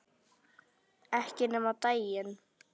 Ekki nema á daginn